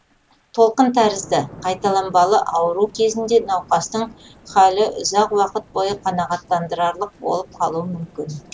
толқын тәрізді қайталанбалы ауру кезінде науқастың халі ұзақ уақыт бойы қанағаттандырарлық болып қалуы мүмкін